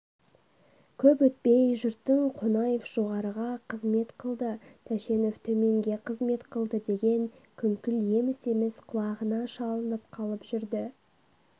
көп өтпей жұрттың қонаев жоғарыға қызмет қылды тәшенов төменге қызмет қылды деген күңкіл еміс-еміс құлағына шалынып қалып жүрді